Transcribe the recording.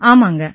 ஆமாங்க